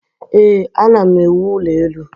ee, ana m ewu ụlọ elu